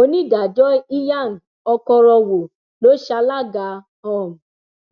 onídàájọ ìyang ọkọrọwò ló ṣalága um